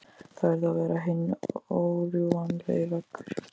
Það yrði að vera hinn órjúfanlegi veggur.